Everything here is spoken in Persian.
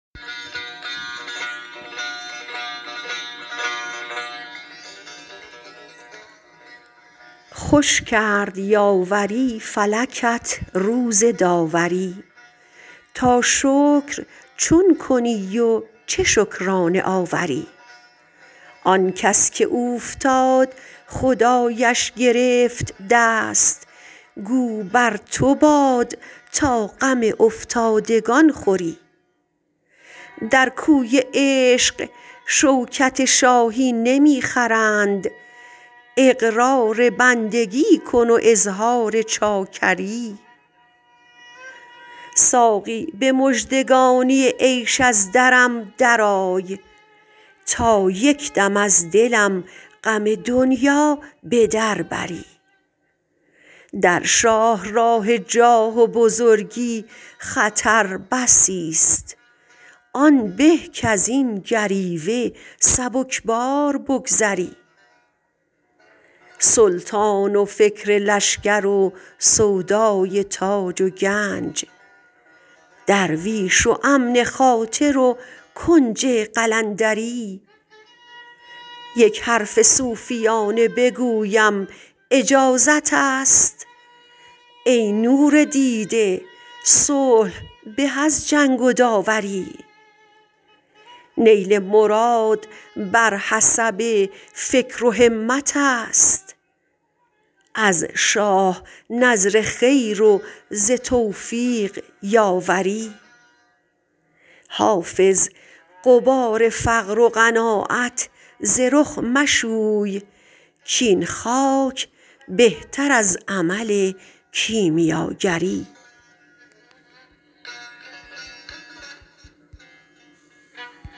خوش کرد یاوری فلکت روز داوری تا شکر چون کنی و چه شکرانه آوری آن کس که اوفتاد خدایش گرفت دست گو بر تو باد تا غم افتادگان خوری در کوی عشق شوکت شاهی نمی خرند اقرار بندگی کن و اظهار چاکری ساقی به مژدگانی عیش از درم درآی تا یک دم از دلم غم دنیا به در بری در شاه راه جاه و بزرگی خطر بسی ست آن به کز این گریوه سبک بار بگذری سلطان و فکر لشکر و سودای تاج و گنج درویش و امن خاطر و کنج قلندری یک حرف صوفیانه بگویم اجازت است ای نور دیده صلح به از جنگ و داوری نیل مراد بر حسب فکر و همت است از شاه نذر خیر و ز توفیق یاوری حافظ غبار فقر و قناعت ز رخ مشوی کاین خاک بهتر از عمل کیمیاگری